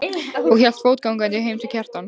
og hélt fótgangandi heim til Kjartans.